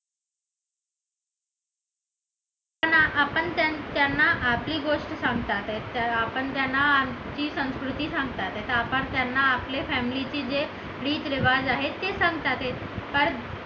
त्यांना आपण त्यांना आपली गोष्ट सांगतात तर आपण त्यांना आमची संस्कृती सांगतात तर आपण त्यांना आपली family जे रीत रीवाज आहेत ते सांगतात